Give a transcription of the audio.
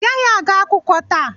Ị gaghị aga akwụkwọ taa!